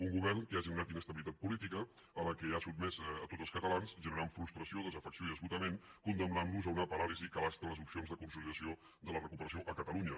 un govern que ha generat inestabilitat política a la qual ha sotmès a tots els catalans generant frustració desafecció i esgotament condemnant los a una paràlisi que abasta les opcions de consolidació de la recuperació a catalunya